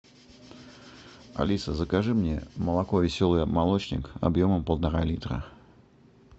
алиса закажи мне молоко веселый молочник объемом полтора литра